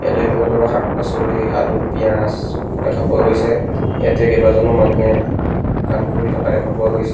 ইয়াতে কোনো ধৰনৰ শাক-পাছলি আলু পিয়াজ দেখা পোৱা গৈছে ইয়াতে কেইবাজনো মানুহে কাম কৰি থকা দেখা পোৱা গৈছে।